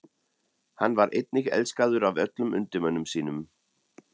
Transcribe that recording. Hann var einnig elskaður af öllum undirmönnum sínum.